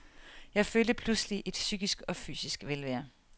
Jeg følte pludselig et psykisk og fysisk velvære.